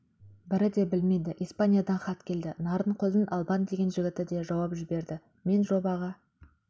бірі де білмейді испаниядан хат келді нарынқолдың албан деген жігіті де жауап жіберді мен жобаға